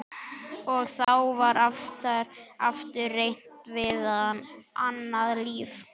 Og þá var aftur reynt við annað lyf.